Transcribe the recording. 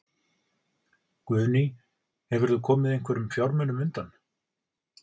Guðný: Hefurðu komið einhverjum fjármunum undan?